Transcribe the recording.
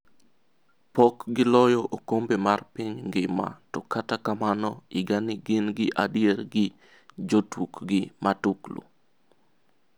Pok gi loyo okombe mar piny ngima to kata kamano higani gin gi adier gi jotukgi matuklu.